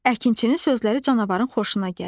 Əkinçinin sözləri canavarın xoşuna gəldi.